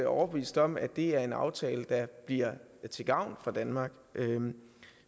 overbevist om at det er en aftale der bliver til gavn for danmark